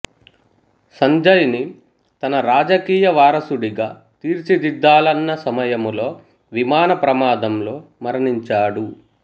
సంజయ్ ని తన రాజకీయ వారసుడిగా తీర్చిదిద్దాలన్న సమయంలో విమాన ప్రమాదంలో మరణించాడు